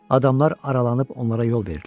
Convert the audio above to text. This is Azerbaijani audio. Adamlar aralanıb onlara yol verdilər.